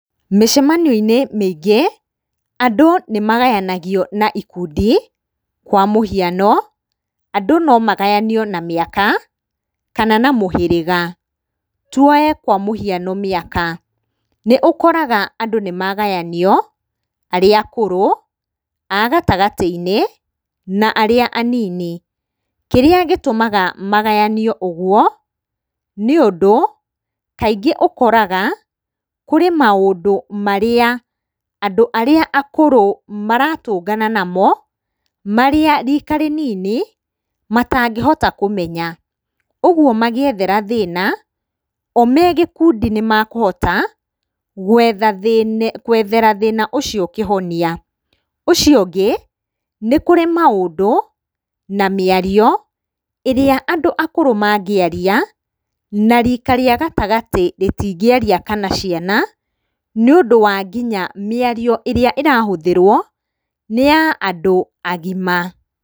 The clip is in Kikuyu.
Mĩcemanio-inĩ mĩingĩ, andũ nĩmagayanagio na ikundi, kwa mũhiano, andũ nomagayanio na mĩaka kana na mũhĩrĩga. Tuoe kwa mũhiano mĩaka. Nĩũkoraga andũ nĩmagayanio, arĩa akũrũ, a gatagatĩ-inĩ, na arĩa anini. Kĩrĩa gĩtũmaga magayanio ũguo nĩũndũ kaingĩ ũkoraga kũrĩ maũndũ marĩa andũ arĩa akũrũ maratũngana namo marĩa rika rĩnini matangĩhota kũmenya, ũguo magĩethera thĩna, o megĩkundi nĩmekũhota gwethera thĩna ũcio kĩhonia. Ũcio ũngĩ, nĩ kũrĩ maũndũ na mĩario ĩrĩa andũ akũrũ mangĩaria, na rika rĩa gatagatĩ rĩtingĩaria kana ciana, nĩũndũ wa nginya mĩa rio ĩrĩa ĩrahũthĩrwo nĩ ya andũ agima.